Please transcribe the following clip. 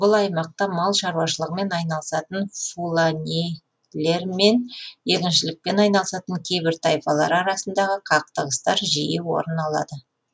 бұл аймақта мал шаруашылығымен айналысатын фуланилер мен егіншілікпен айналысатын кейбір тайпалар арасындағы қақтығыстар жиі орын алады